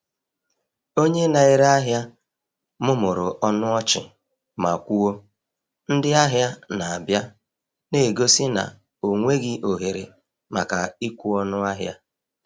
Onye na-ere ahịa mụmụrụ ọnụ ọchị ma kwuo, “Ndị ahịa na-abịa,” na-egosi na ọ nweghị ohere maka ịkwụ ọnụ ahịa.